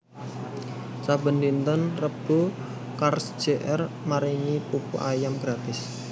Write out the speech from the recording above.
saben dinten Rebo Carls Jr maringi pupu ayam gratis